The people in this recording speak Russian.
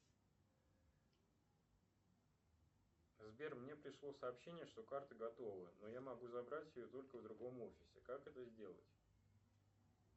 сбер мне пришло сообщение что карта готова но я могу забрать ее только в другом офисе как это сделать